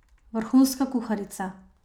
Vrhunska kuharica!